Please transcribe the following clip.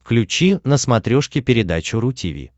включи на смотрешке передачу ру ти ви